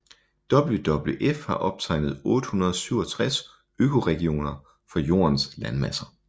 WWF har optegnet 867 økoregioner for Jordens landmasser